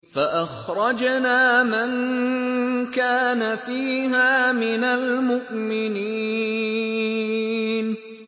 فَأَخْرَجْنَا مَن كَانَ فِيهَا مِنَ الْمُؤْمِنِينَ